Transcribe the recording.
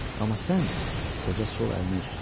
Amma sən, qoca sol əlinə üz tutdu.